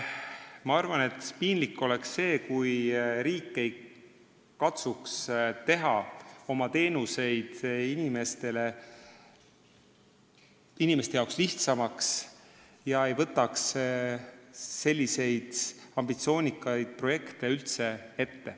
" Ma arvan, et piinlik oleks see, kui riik ei katsuks teha oma teenuseid inimeste jaoks lihtsamaks ega võtaks üldse ette selliseid ambitsioonikaid projekte.